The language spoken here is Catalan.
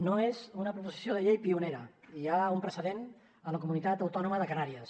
no és una proposició de llei pionera hi ha un precedent a la comunitat autònoma de canàries